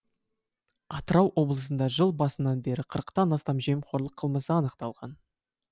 атырау облысында жыл басынан бері қырықтан астам жемқорлық қылмысы анықталған